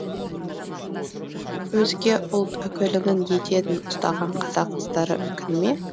өзге ұлт өкілінің етегін ұстаған қазақ қыздары өкіне ме